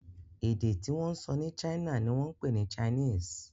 èdè tí wón sọ ní china ní wón pé ní Chinese.